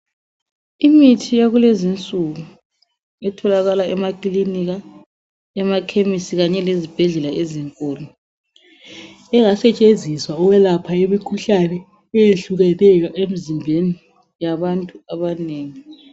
Imithi yakulezi insuku etholaka emakilinika, emakhemisi kanye lezibhedlela ezinkulu engsetshenziswa ukwelapha imikhuhlane eyehlukeneyo emizimbeni yabantu abanengi.